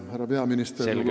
Härra peaminister!